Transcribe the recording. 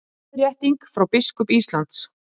Leiðrétting frá biskup Íslands